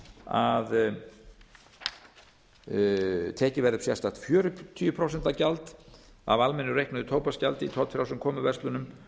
að tekið verði upp sérstakt fjörutíu prósent gjald af almennu reiknuðu tóbaksgjaldi í tollfrjálsum komuverslunum